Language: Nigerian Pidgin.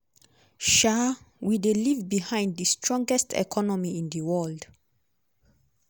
um "we dey leave behind di strongest economy in di world.